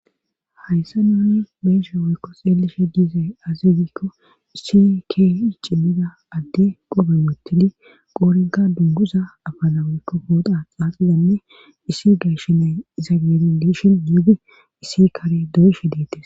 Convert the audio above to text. hayssa nuuni beeshe woykko xeelishe diize azegikko issi kei cimmida adde qobe mottidi qoorenka dunguza afalaweykko hoota xaaxillanne issi geyshinay iza geerin diishin yuuge issi kare doyshe deetes